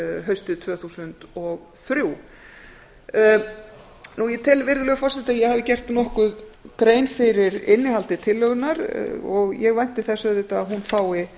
haustið tvö þúsund og þrjú ég tel virðulegur forseti að ég hafi gert nokkuð grein fyrir innihaldi tillögunnar og ég vænti þess auðvitað að hún fái